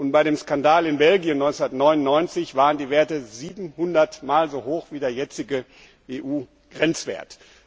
Bei dem Skandal in Belgien 1999 waren die Werte 700 mal so hoch wie der jetzige EU Grenzwert.